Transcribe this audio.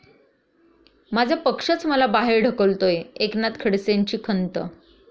माझा पक्षच मला बाहेर ढकलतोय, एकनाथ खडसेंची खंत